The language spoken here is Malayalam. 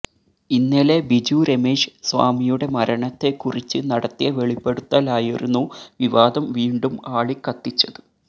ഇന്നലെ ബിജു രമേശ് സ്വാമിയുടെ മരണത്തെ കുറിച്ച് നടത്തിയ വെളിപ്പെടുത്തലായിരുന്നു വിവാദം വീണ്ടും ആളിക്കത്തിച്ചത്